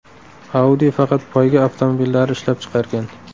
Audi faqat poyga avtomobillari ishlab chiqargan.